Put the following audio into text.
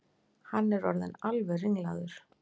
Hann er orðinn alveg ringlaður!